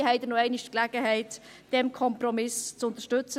Hier haben Sie noch einmal Gelegenheit, diesen Kompromiss zu unterstützen.